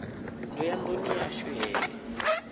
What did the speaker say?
ndo ya nduni yashu he